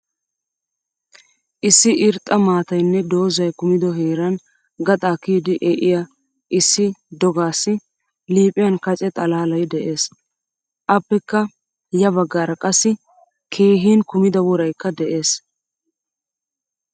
Issi irxxa maataaynne dozay kumido heeran gaxa kiyidi e'iya issi dogasi liiphphiyan kacce xalaalay de'ees. Appekka ya baggaara qassi keehin kumida woraykka de'ees.